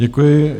Děkuji.